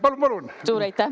Palun-palun!